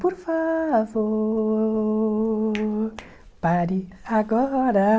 Por favor, pare agora.